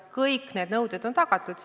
Kõik need nõuded on tagatud.